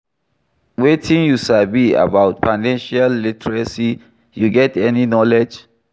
wetin you sabi about financial literacy, you get any knowledge?